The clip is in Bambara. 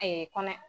kɔnɔ